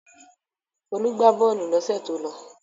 Folú gbà bọ́ọ́lù lọ́sẹ̀ tó lọ.